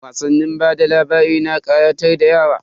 Wasannin bada labari na kayatar da yara.